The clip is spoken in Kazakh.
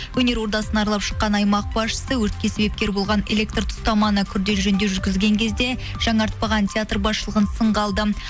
өнер ордасын аралап шыққан аймақ басшысы өртке себепкер болған электр тұстаманы күрделі жөндеу жүргізген кезде жаңартпаған театр басышлығын сынға алды